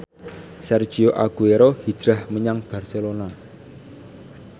Sergio Aguero hijrah menyang Barcelona